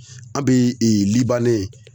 An bee libane